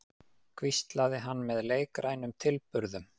hvíslaði hann með leikrænum tilburðum.